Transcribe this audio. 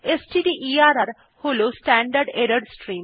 স্টডারের হল standard error stream